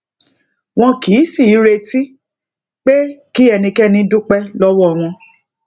wọn kì í sì í retí pé kí ẹnikéni dúpé lówó wọn